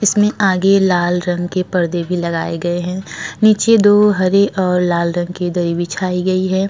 इसमें आगे लाल रंग के पर्दे भी लगाए गए हैं नीचे दो हरे और लाल रंग के दरी बिछाई गई है।